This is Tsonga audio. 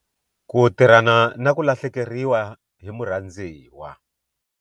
Ku tirhana na ku lahlekeriwa hi murhandziwa.